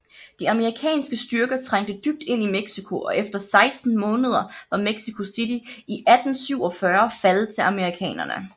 De amerikanske styrker trængte dybt ind i Mexico og efter 16 måneder var Mexico City i 1847 faldet til amerikanerne